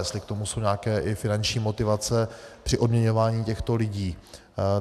Jestli k tomu jsou nějaké i finanční motivace při odměňování těchto lidí.